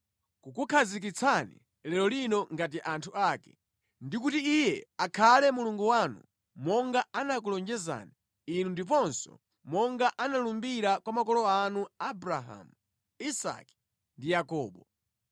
kukukhazikitsani lero lino ngati anthu ake, ndi kuti Iye akhale Mulungu wanu monga anakulonjezani inu ndiponso monga analumbira kwa makolo anu Abrahamu, Isake ndi Yakobo.